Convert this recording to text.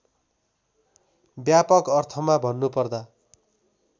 व्यापक अर्थमा भन्नुपर्दा